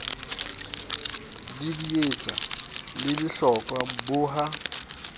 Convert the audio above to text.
didietsa le lehlokwa bo ha